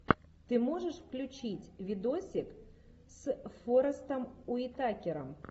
ты можешь включить видосик с форестом уитакером